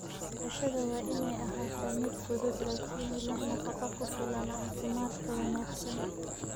Cashada waa inay ahaataa mid fudud laakiin leh nafaqo ku filan caafimaadka wanaagsan.